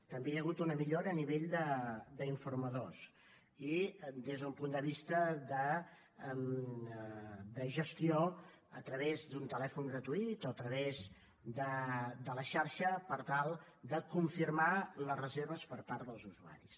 també hi ha hagut una millora a nivell d’informadors i des d’un punt de vista de gestió a través d’un telèfon gratuït o a través de la xarxa per tal de confirmar les reserves per part dels usuaris